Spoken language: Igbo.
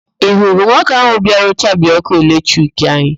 Ị hụrụ nwoke ahụ bịara chabie ọ́kụ́ eletrik anyị?